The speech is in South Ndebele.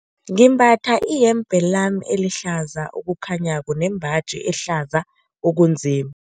Ngimbatha iyembe lami elihlaza okukhanyako nembaji ehlaza okunzim